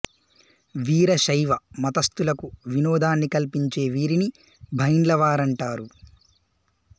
వీర శైవ మతస్థులకు వినోదాన్ని కల్పించే వీరిని బైండ్ల వారంటారు